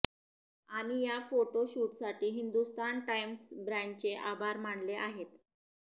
आणि या फोटो शूटसाठी हिंदुस्तान टाईम्स ब्रँचचे आभार मानले आहेत